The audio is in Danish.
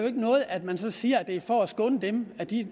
ikke noget at man så siger at det er for at skåne dem at de